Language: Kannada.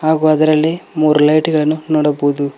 ಹಾಗು ಅದರಲ್ಲಿ ಮೂರ್ ಲೈಟ್ ಗಳನ್ನು ನೋಡಬಹುದು.